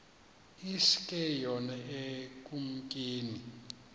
iske yona ekumkeni